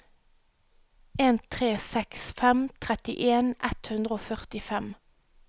en tre seks fem trettien ett hundre og førtifem